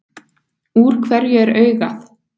Úr hverju er augað?